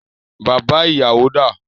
Bàbá ìyàwó dá à?